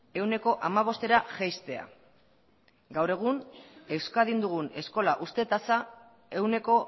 ehuneko hamabostera jaistea gaur egun euskadin dugun eskola uzte tasa ehuneko